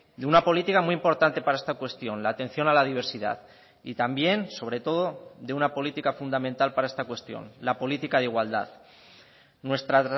de una política muy importante para esta cuestión la atención a la diversidad y también sobre todo de una política fundamental para esta cuestión la política de igualdad nuestra